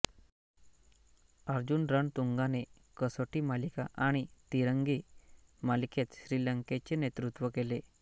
अर्जुन रणतुंगाने कसोटी मालिका आणि तिरंगी मालिकेत श्रीलंकेचे नेतृत्व केले